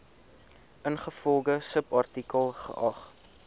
ingevolge subartikel geag